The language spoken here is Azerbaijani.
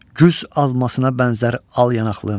Güz almasına bənzər al yanaqlım.